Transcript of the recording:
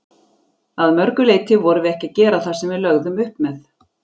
Að mörgu leiti vorum við ekki að gera það sem við lögðum upp með.